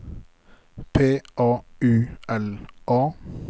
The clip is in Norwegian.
P A U L A